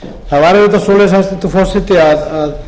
það var auðvitað svo hæstvirtur forseti að